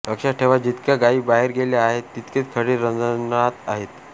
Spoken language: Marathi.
लक्षात ठेवा जितक्या गायी बाहेर गेल्या आहेत तितकेच खडे रांजणात आहेत